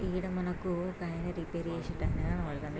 ఈడ మనకు ఒకాయన రిపేర్ చేసే-- ]